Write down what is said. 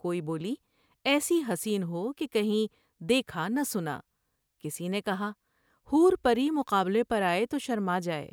کوئی بولی ایسی حسین ہو کہ کہیں دیکھا نہ سنا '' کسی نے کہا '' حور پری متقابلے پر آۓ تو شرما جائے ۔